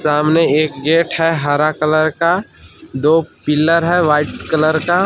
सामने एक गेट है हरा कलर का। दो पिल्लर है वाइट कलर का।